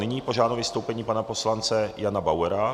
Nyní požádám o vystoupení pana poslance Jana Bauera.